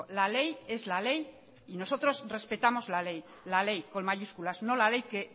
la ley es la ley y nosotros respetamos la ley la ley con mayúsculas no la ley que